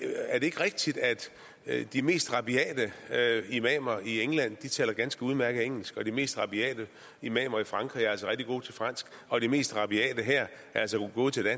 ikke rigtigt at de mest rabiate imamer i england taler ganske udmærket engelsk og de mest rabiate imamer i frankrig er altså rigtig gode til fransk og de mest rabiate her er altså gode til